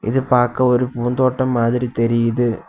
இது பார்க்க ஒரு பூந்தோட்டம் மாதிரி தெரியுது.